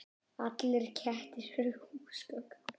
Allir kettir eru húsgögn